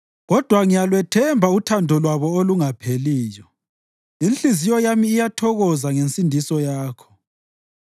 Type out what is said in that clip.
Kodwa ngiyalwethemba uthando lwabo olungapheliyo; inhliziyo yami iyathokoza ngensindiso yakho.